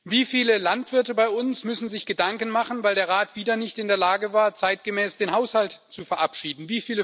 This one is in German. Wie viele Landwirte bei uns müssen sich Gedanken machen, weil der Rat wieder nicht in der Lage war, zeitgemäß den Haushalt zu verabschieden?